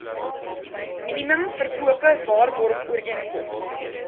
minimum verkope waarborgooreenkoms